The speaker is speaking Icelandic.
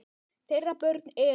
Þeirra börn eru.